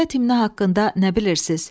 Dövlət himni haqqında nə bilirsiz?